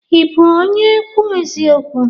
Ị bụ onye ekwu eziokwu?